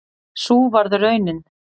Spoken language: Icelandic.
Sú varð raunin